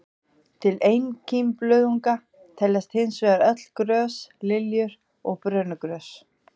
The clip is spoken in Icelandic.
Til einkímblöðunga teljast hins vegar öll grös, liljur og brönugrös.